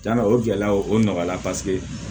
Cɛna o gɛlɛyaw o nɔgɔyala paseke